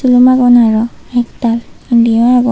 silumnagon arow ektal indiyo agon.